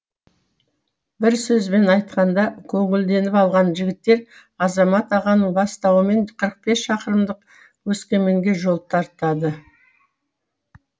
бір сөзбен айтқанда көңілденіп алған жігіттер азамат ағаның бастауымен қырық бес шақырымдық өскеменге жол тартады